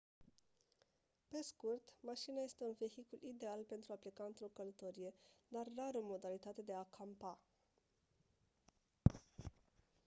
pe scurt mașina este un vehicul ideal pentru a pleca într-o călătorie dar rar o modalitate de a «campa».